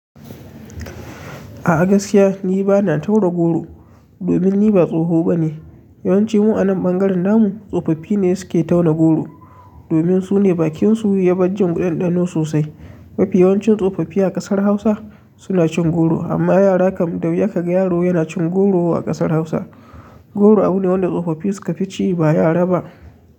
A gaskiya ni bana tauna goro domin ni ba tsoho bane. Yawanci mu a nan ɓangaren namu tsofaffi ne suke tauna goro domin su ne bakinsu ya ban jin ɗanɗano sosai. Mafi yawancin tsofaffi a ƙasar Hausa suna cin goro amma yara kam da wuya ka ga yaro yana cin goro a ƙasar Hausa. Goro abu ne wanda tsofaffi suka fi ci ba yara ba.